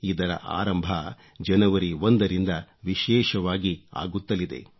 ಇದರ ಆರಂಭ ಜನವರಿ 1 ರಿಂದ ವಿಶೇಷವಾಗಿ ಆಗುತ್ತಲಿದೆ